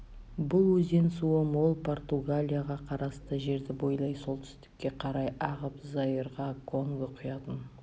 бұл өзен суы мол португалияға қарасты жерді бойлай солтүстікке қарай ағып заирға конго құятын